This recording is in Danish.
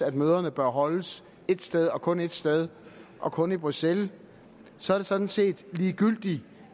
at møderne bør holdes et sted og kun et sted og kun i bruxelles så er det sådan set ligegyldigt